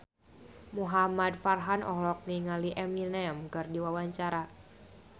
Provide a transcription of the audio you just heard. Muhamad Farhan olohok ningali Eminem keur diwawancara